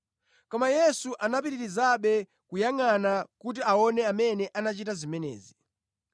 Koma Yesu anapitirizabe kuyangʼana kuti aone amene anachita zimenezi.